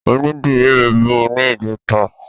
Onídìrí mi bímọ ní ìjẹta.